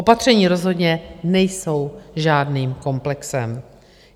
Opatření rozhodně nejsou žádným komplexem.